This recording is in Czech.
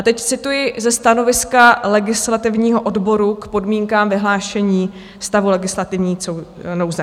A teď cituji ze stanoviska legislativního odboru k podmínkám vyhlášení stavu legislativní nouze.